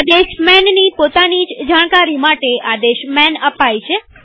આદેશ manની પોતાની જ જાણકારી માટે આદેશ માન અપાય છે